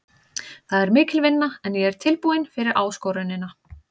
Það er mikil vinna en ég er tilbúinn fyrir áskorunina.